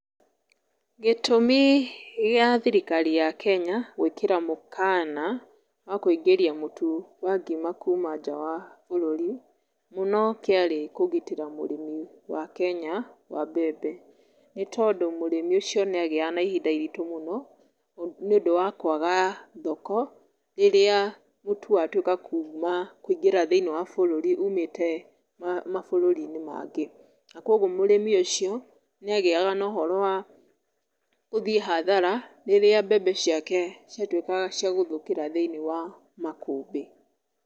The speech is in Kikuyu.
Gĩtũmi gĩa thirikari ya Kenya, gwĩkĩra mũkana, wa kũingĩria mũtu wa ngima kuma nja wa bũrũri, mũno kĩarĩ kũgitĩra mũrĩmi wa Kenya wa mbembe, nĩ tondũ mũrĩmi ũcio nĩ agĩyaga na ihinda iritũ mũno, nĩ ũndũ wa kwaga thoko, rĩrĩa mũtu watuĩka kuma kũingĩra thĩinĩ wa bũrũri, ũmĩte mabũrũri-inĩ mangĩ, na kwoguo mũrĩmi ũcio nĩ agĩyaga na ũhoro wa gũthiĩ hathara, rĩrĩa mbembe ciake ciatuĩkaga cia gũthukĩra thĩinĩ wa makũmbĩ.